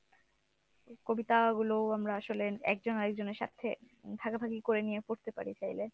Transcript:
কবিতাগুলো আমরা আসলে একজন আরেকজনের সাথে উম ভাগাভাগি করে নিয়ে পড়তে পারি চাইলে।